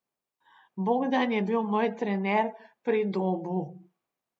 Bogdan je bil moj trener pri Dobu.